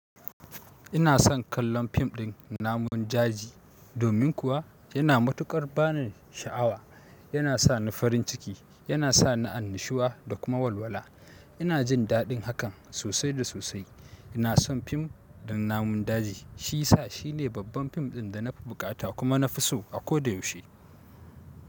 Ina son kallon fim ɗin namun daji, domin kuwa yana matuƙar bani sha'awa. Yana sa ni farin ciki, yana sa ni annashuwa da kuma walwala. Ina jin daɗin hakan sosai da sosai. Ina son fim ɗin namun daji. Shi sa shi ne babban fim ɗin da na fi buƙata kuma na fi so a ko da yaushe.